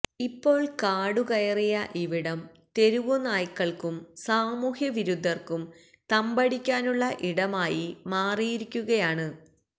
ഇപ്പോള് കാടുകയറിയ ഇവിടം തെരുവുനായകള്ക്കും സാമൂഹ്യവിരുദ്ധര്ക്കും തമ്പടിക്കാനുള്ള ഇടമായി മാറിയിരിക്കകുയാണ്